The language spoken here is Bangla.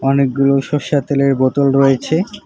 অনেকগুলো সরষার তেলের বোতল রয়েছে।